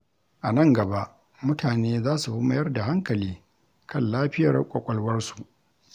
A nan gaba, mutane za su fi mayar da hankali kan lafiyar ƙwaƙwalwarsu.